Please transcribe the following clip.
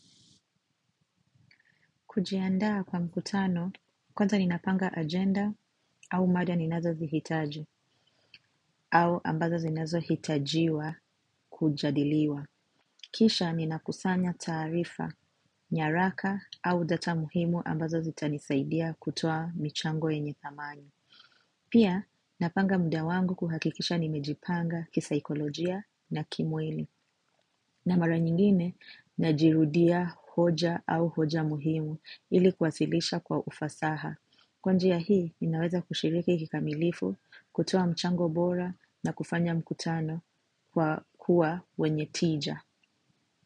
Kujiandaa kwa mkutano, kwanza ninapanga agenda au mada ninazo zihitaji, au ambazo zinazohitajiwa kujadiliwa. Kisha ninakusanya taarifa, nyaraka au data muhimu ambazo zitanisaidia kutoa michango yenye dhamani. Pia, napanga muda wangu kuhakikisha nimejipanga kisaikolojia na kimwili. Na mara nyingine, najirudia hoja au hoja muhimu ili kuwasilisha kwa ufasaha. Kwa nji ya hii, ninaweza kushiriki kikamilifu, kutoa mchango bora na kufanya mkutano kwa kuwa wenye tija.